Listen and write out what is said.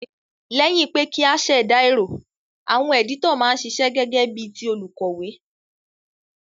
Léyìn pe kí a sèdà èrò, àwon editor ma n sisẹ́ gégé bí ti olùkòwé